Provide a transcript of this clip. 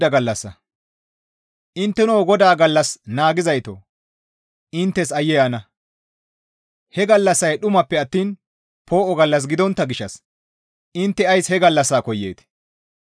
Intteno GODAA gallas naagizaytoo! Inttes aayye ana! He gallassay dhumappe attiin poo7o gallas gidontta gishshas intte ays he gallassa koyeetii?